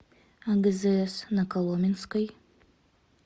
агзс на коломенской